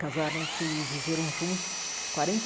Casaram-se e viveram juntos quarenta e